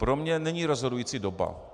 Pro mě není rozhodující doba.